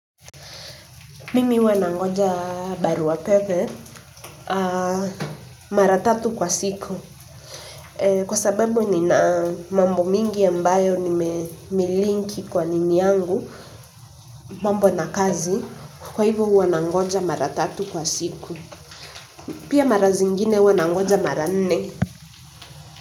Mimi huwa nangoja barua pepe mara tatu kwa siku kwa sababu nina mambo mingi ambayo nimelinki kwa nini yangu, mambo na kazi, kwa hivyo huwa nangoja mara tatu kwa siku. Pia mara zingine huwa nangoja mara nne.